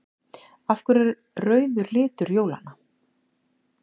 Af hverju er rauður litur jólanna?